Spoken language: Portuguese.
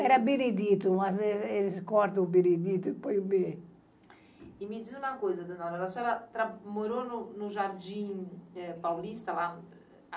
Era Beredito, mas ele eles cortam o Beredito e põe o B. E me diz uma coisa, Dona Aurora, a senhora tra, morou no no Jardim é... Paulista lá?